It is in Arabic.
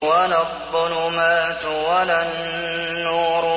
وَلَا الظُّلُمَاتُ وَلَا النُّورُ